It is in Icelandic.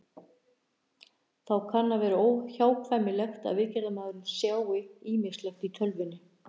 Þá kann að vera óhjákvæmilegt að viðgerðarmaðurinn sjái ýmislegt í tölvunni.